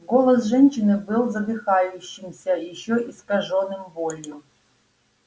голос женщины был задыхающимся ещё искажённым болью